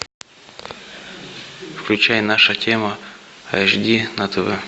включай наша тема эйч ди на тв